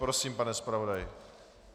Prosím, pane zpravodaji.